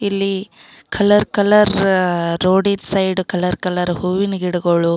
ಇಲ್ಲಿ colour colour ರೋಡಿನ್ side colour colour ಹೂವಿನ ಗಿಡಗಳು.